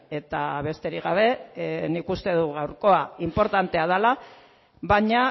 eta besterik gabe nik uste dut gaurkoa inportantea dela baina